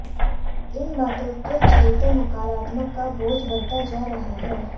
इन बातों के चलते नकारात्मकता का बोझ बढ़ता जा रहा है